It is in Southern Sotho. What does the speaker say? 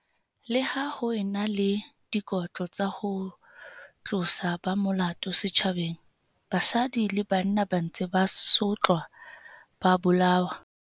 Leha ho e na le dikotlo tsa ho tlosa ba molato setjhabeng, basadi le bana ba ntse ba sotlwa ba bolawa.